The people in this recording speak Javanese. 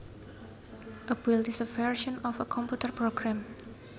A build is a version of a computer program